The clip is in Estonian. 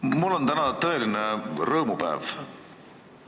Mul on täna tõeline rõõmupäev.